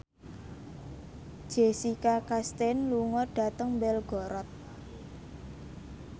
Jessica Chastain lunga dhateng Belgorod